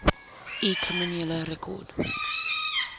u kriminele rekord